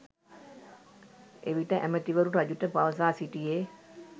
එවිට ඇමතිවරු රජුට පවසා සිටියේ